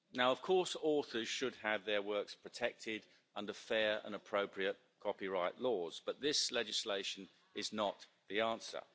Of course authors should have their works protected under fair and appropriate copyright laws, but this legislation is not the answer.